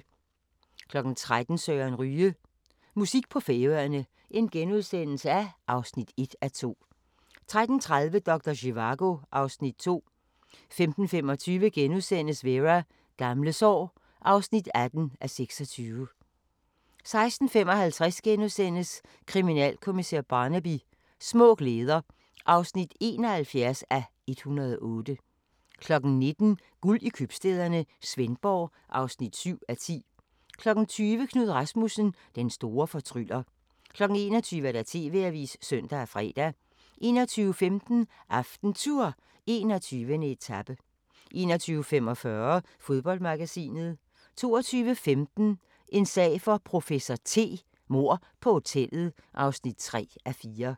13:00: Søren Ryge: Musik på Færøerne (1:2)* 13:30: Doktor Zivago (Afs. 2) 15:25: Vera: Gamle sår (18:26)* 16:55: Kriminalkommissær Barnaby: Små glæder (71:108)* 19:00: Guld i købstæderne - Svendborg (7:10) 20:00: Knud Rasmussen – den store fortryller 21:00: TV-avisen (søn og fre) 21:15: AftenTour: 21. etape 21:45: Fodboldmagasinet 22:15: En sag for professor T: Mord på hotellet (3:4)